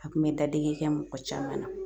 A kun bɛ dadigi kɛ mɔgɔ caman na